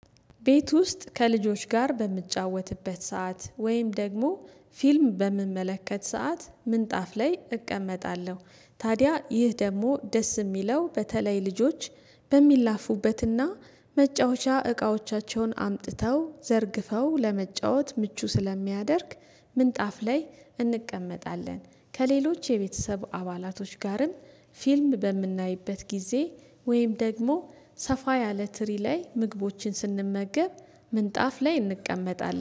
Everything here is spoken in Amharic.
ቤት ውስጥ ከልጆች ጋር በምጫወትበት ሰዓት ወይም ደግሞ ፊልም በምመለከት ሰዓት ምንጣፍ ላይ እቀመጣለሁ። ታዲያ ይህ ደግሞ ደስ የሚለው በተለይ ልጆች በሚላፉበትና መጫወቻ እቃዎቻቸውን አምጥተው ዘርግፈው ለመጫወት ምቹ ስለሚያደርግ ምንጣፍ ላይ እንቀመጣለን ከሌሎች የቤተሰብ አባላቶች ጋርም ፊልም በምናይበት ጊዜ ወይም ደግሞ ሰፋ ያለ ትሪ ላይ ምግቦችን ስንመገብ ምንጣፍ ላይ እንቀመጣለን